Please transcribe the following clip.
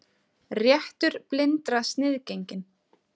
Réttur blindra sniðgenginn